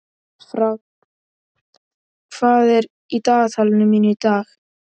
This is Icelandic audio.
Fránn, hvað er í dagatalinu mínu í dag?